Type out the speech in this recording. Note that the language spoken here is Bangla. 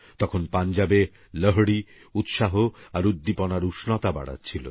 তখন পাঞ্জাবে লোহড়ীউৎসাহআর উদ্দীপনারউষ্ণতা বাড়াচ্ছিল